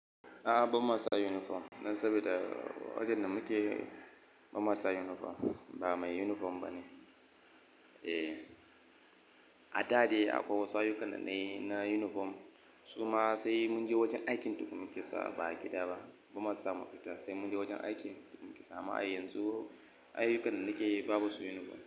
A'a ba mu sa uniform ba saboda wajen da muke ba mu sa uniform ba, ba mai uniform ba ne. Eh, a da dai akwai wasu ayyukan na na uniform, su ma sai mun je wajen aikin tukin muka sa, ba a gida ba. Ba mu sa makafita sai mun je wajen aikin muka sa. Amma yanzu ayyukan da muke babu su uniform.